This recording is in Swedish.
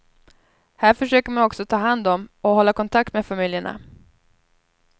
Här försöker man också ta hand om och hålla kontakt med familjerna.